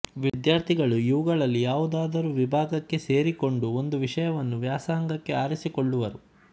ವಿದ್ಯಾರ್ಥಿಗಳು ಇವುಗಳಲ್ಲಿ ಯಾವುದಾದರೂ ವಿಭಾಗಕ್ಕೆ ಸೇರಿಕೊಂಡು ಒಂದು ವಿಷಯವನ್ನು ವ್ಯಾಸಂಗಕ್ಕೆ ಆರಿಸಿಕೊಳ್ಳುವರು